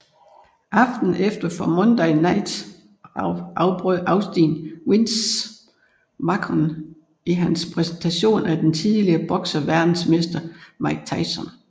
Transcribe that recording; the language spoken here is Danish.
Aftenen efter på Monday Night Raw afbrød Austin Vince McMahon i hans præsentation af den tidligere bokseverdensmester Mike Tyson